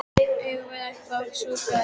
Eigum við ekki að fá okkur súpu?